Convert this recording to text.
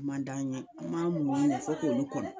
man d'an ye an b'an muɲu de fo k'olu kɔnɔ